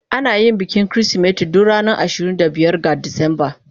Ana yin bikin Kirsimeti duk ranar ashirin da biyar ga Disamba.